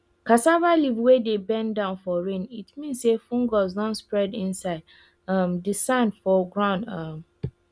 cassava leaf wey dey bend down for rain fit mean say fungus don spread inside um di sand for ground um